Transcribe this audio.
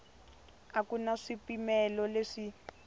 a ku na swipimelo leswi